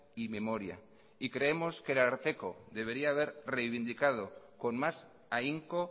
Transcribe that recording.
y memoria y creemos que el ararteko debería haber revindicado con más ahínco